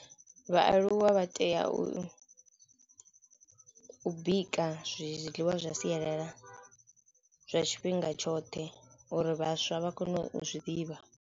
Vhaaluwa vha tea u u bika zwiḽiwa zwa sialala zwa tshifhinga tshoṱhe uri vhaswa vha kone u zwi ḓivha.